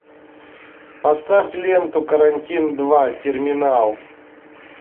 поставь ленту карантин два терминал